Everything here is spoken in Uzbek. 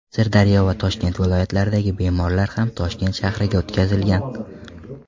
Sirdaryo va Toshkent viloyatlaridagi bemorlar ham Toshkent shahriga o‘tkazilgan.